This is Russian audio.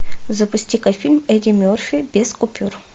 запусти ка фильм эдди мерфи без купюр